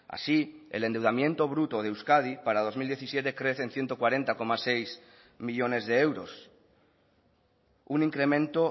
así el endeudamiento bruto de euskadi para dos mil diecisiete crece en ciento cuarenta coma seis millónes de euros un incremento